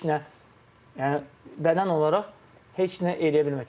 Heç nə yəni bədən olaraq heç nə eləyə bilmirdi.